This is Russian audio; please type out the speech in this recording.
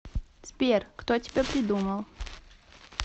сбер кто тебя придумал